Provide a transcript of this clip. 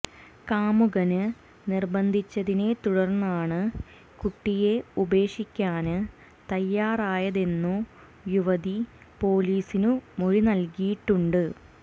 കാമുകന് നിര്ബന്ധിച്ചതിനെ തുടര്ന്നാണു കുട്ടിയെ ഉപേക്ഷിക്കാന് തയാറായതെന്നു യുവതി പോലീസിനു മൊഴിനല്കിയിട്ടുണ്ട്